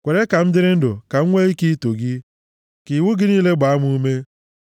Kwere ka m dịrị ndụ ka m nwee ike ito gị, ka iwu gị niile gbaa m ume.